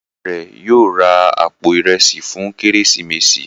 Ìyá rẹ yóò rá àpò Ìrẹsí fún Kérésìmesì.